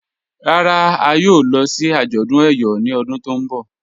Rárá, à yóò lọ̀ sí ajọ̀dún Eyọ̀ ni ọ̀dún tó nbọ̀